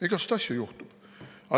Igasugu asju juhtub.